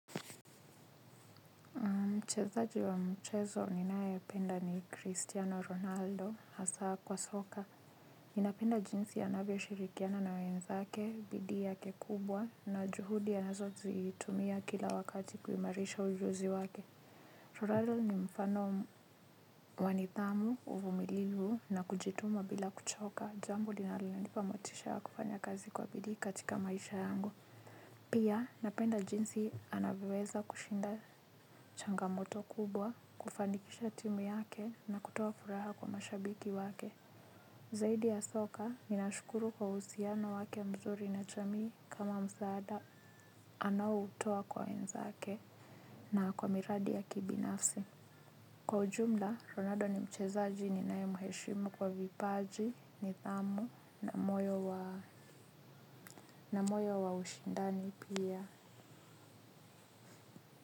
Mchezaji wa mchezo ninae penda ni Christiano Ronaldo, hasaa kwa soka. Ninapenda jinsi anavyo shirikiana na wenzake, bidii yake kubwa, na juhudi anazo zitumia kila wakati kuimarisha ujuzi wake. Ronaldo ni mfano wa nidhamu, uvumilivu, na kujituma bila kuchoka. Jambo linalo nipa motisha ya kufanya kazi kwa bidii katika maisha yangu. Pia napenda jinsi anavyoweza kushinda changamoto kubwa kufanikisha timu yake na kutoa furaha kwa mashabiki wake. Zaidi ya soka ninashukuru kwa uhusiano wake mzuri na jamii kama msaada anaoutoa kwa wenzake na kwa miradi ya kibinafsi. Kwa ujumla, Ronaldo ni mchezaji ninae mheshimu kwa vipaji nidhamu na moyo wa ushindani pia.